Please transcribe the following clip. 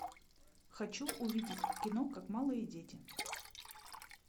хочу увидеть кино как малые дети